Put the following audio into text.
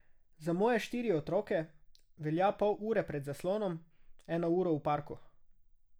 Za moje štiri otroke velja pol ure pred zaslonom, eno uro v parku.